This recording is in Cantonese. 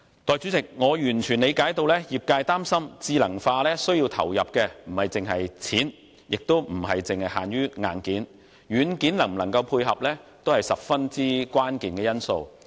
代理主席，我完全理解到，業界擔心智能化需要投入的不止是金錢，亦不止限於硬件，軟件能否配合也是十分關鍵的因素。